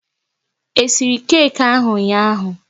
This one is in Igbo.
E siri keki ahụ ụnyaahụ?